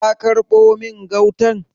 Ka karbo min gautan?